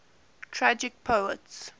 tragic poets